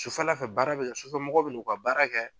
Sufɛla fɛ baara be kɛ, sufɛmɔgɔw bɛn'u ka baara kɛ.